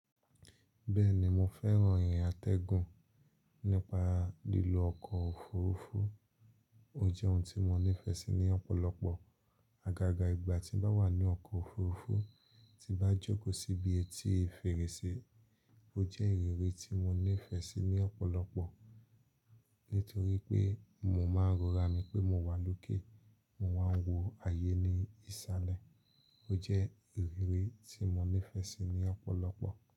Bẹ́ẹ̀ni mo fẹ́ràn ìrìn atẹ́gùn nípa lílo ọkọ̀ òfuurufú. Ó jẹ́ ohun tí mo nífẹ̀ẹ́ sí ní ọ̀pọ̀lọpọ̀. Agaga ìgbà tí ń bá wà ní ọkọ̀ òfuurufú tí bá jókòó síbi etí fèrèsé ó jẹ́ ìrírí tí mo nífẹ̀ẹ́ sí ní ọ̀pọ̀lọpọ̀. Nítorí pé mò ń máa rọra mí pé mo wà lókè, mo wà ń wò ayé ní ìsàlẹ̀ ó jẹ́ ìrírí tí mo nífẹ̀ẹ́ sí ní ọ̀pọ̀lọpọ̀.